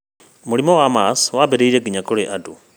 Mũrimũ wa MERS watambire nginya kũrĩ andũ